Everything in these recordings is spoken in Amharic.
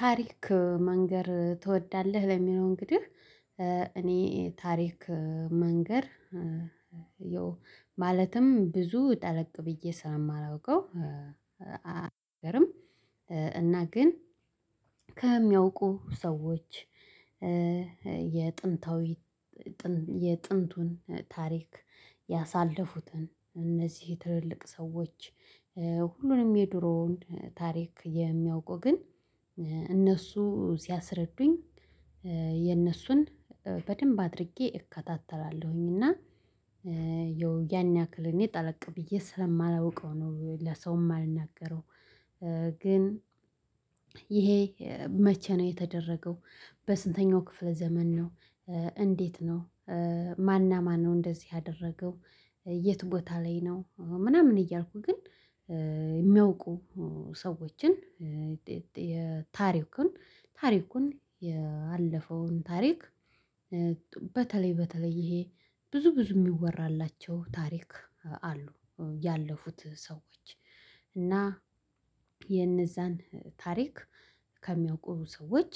ታሪክ መንገር ትወዳለህ ለሚለው እንግዲህ እኔ ታሪክ መንገር። ማለትም ብዙ ጠለቅ ብዬ ስለማላውቀው። አይደርም። እና ግን ከሚያውቁ ሰዎች። የጥንት የጥንቱን ታሪክ ያሳለፉትን እነዚህ ትልልቅ ሰዎች። ሁሉንም የድሮውን ታሪክ የሚያውቁ ግን እነሱ ሲያስረዱኝ። የነሱን በደንብ አድርጌ እከታተላለሁኝ። እና ያን ያክል እኔ ጠለቅ ብዬ ስለማላውቀው ነው ለሰውም የማልናገረው። ግን ይሄ መቼ ነው የተደረገው? በስንተኛው ክፍለ ዘመን ነው? እንዴት ነው? ማን እና ማነው እንደዚህ ያደረገው? የት ቦታ ላይ ነው? ምናምን እያልኩ ግን የሚያውቁ ሰዎችን የታሪኩን ታሪኩን ያለፈውን ታሪክ። በተለይ በተለይ ይሄ ብዙ ብዙ የሚወራላቸው ታሪክ አሉ ያለፉት ሰዎች። እና የነዛን ታሪክ ከሚያውቁ ሰዎች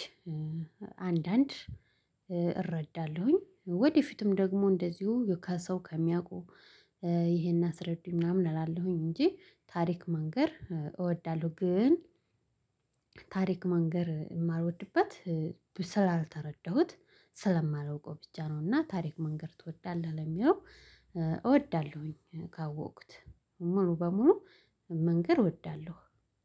አንዳንድ እረዳለሁኝ። ወደፊትም ደግሞ እንደዚሁ ከሰው ከሚያውቁ ይሄን አስረዱኝ ምናምን እላለሁኝ እንጂ ታሪክ መንገር እወዳለሁ። ግን ታሪክ መንገር የማልወድበት ስላልተረዳሁት ስለማላውቀው ብቻ ነው። እና ታሪክ መንገር ትወዳለህ ለሚለው? እወዳለሁኝ ካወቅኩት ሙሉ በሙሉ መንገር እወዳለሁ።